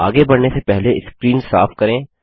आगे बढ़ने से पहले स्क्रीन साफ करें